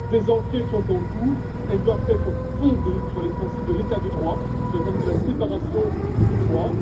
Des enquêtes sont en cours, qui doivent être fondées sur les principes de l'état de droit, sur les principes de la séparation des pouvoirs.